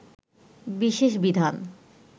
বিশেষ বিধান